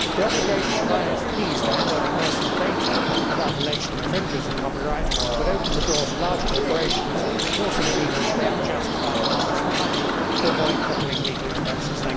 The obligation of ISPs to hand over personal data about alleged infringements of copyright would open the door to large corporations forcing people to pay unjustified demands for money to avoid crippling legal expenses.